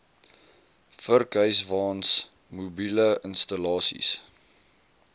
vurkhyswaens mobiele installasies